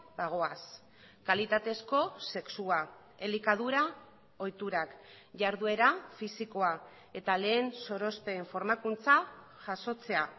bagoaz kalitatezko sexua elikadura ohiturak jarduera fisikoa eta lehen sorospen formakuntza jasotzea